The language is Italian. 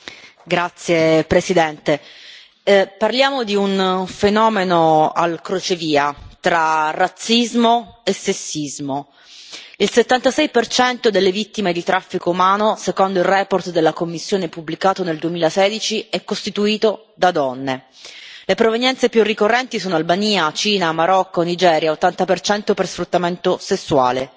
Signor Presidente, onorevoli colleghi, parliamo di un fenomeno al crocevia tra razzismo e sessismo. Il 76 delle vittime di traffico umano, secondo la relazione della Commissione pubblicata nel 2016, è costituito da donne. Le provenienze più ricorrenti sono Albania, Cina, Marocco, Nigeria, 80 per sfruttamento sessuale.